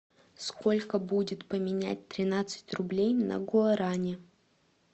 сколько будет поменять тринадцать рублей на гуарани